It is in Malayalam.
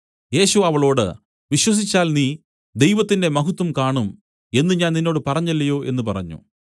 യേശു അവളോട് വിശ്വസിച്ചാൽ നീ ദൈവത്തിന്റെ മഹത്വം കാണും എന്നു ഞാൻ നിന്നോട് പറഞ്ഞില്ലയോ എന്നു പറഞ്ഞു